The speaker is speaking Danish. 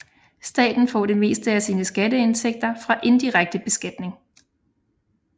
Staten får det meste af sine skatteindtægter fra indirekte beskatning